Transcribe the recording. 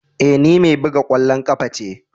Eh, ni mai bugan kwallon kafa ce.